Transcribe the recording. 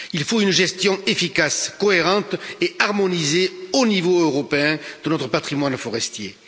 Il faut une gestion efficace, cohérente et harmonisée au niveau européen de notre patrimoine forestier.